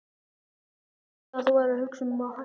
Þú sagðir að þú værir að hugsa um að hætta.